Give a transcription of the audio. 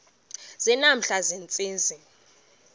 nje namhla ziintsizi